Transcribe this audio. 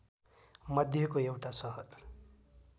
मध्येको एउटा सहर